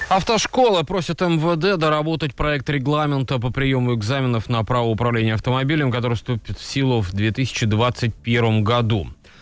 автошкола просят мвд доработать проект регламента по приёму экзаменов на право управления автомобилем который вступит в силу в две тысячи двадцать первом году